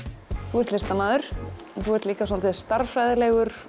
þú ert listamaður þú ert líka svolítill stærðfræðilegur